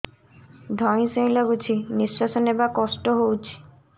ଧଇଁ ସଇଁ ଲାଗୁଛି ନିଃଶ୍ୱାସ ନବା କଷ୍ଟ ହଉଚି